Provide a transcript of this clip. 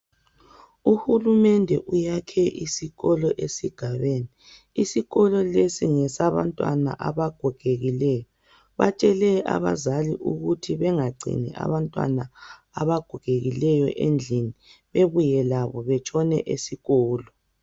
Uhulumende uyakhe isikolo esigabeni. Isikolo lesi ngesabantwana abagogekileyo. Batshele abazali ukuthi bengagcini abantwana abagogekileyo endlini, bebuye labo betshone esikolo.